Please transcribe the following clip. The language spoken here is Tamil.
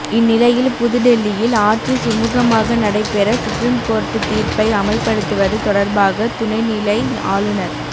இந்நிலையில் புதுடெல்லியில் ஆட்சி சுமுகமாக நடைபெற சுப்ரீம் கோர்ட்டு தீர்ப்பை அமல்படுத்துவது தொடர்பாக துணை நிலை ஆளுநர்